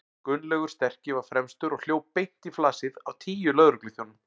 Gunnlaugur sterki var fremstur og hljóp beint í flasið á tíu lögregluþjónum.